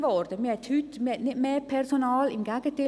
Man hat nicht mehr Personal, im Gegenteil: